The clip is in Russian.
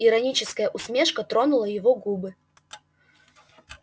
ироническая усмешка тронула его губы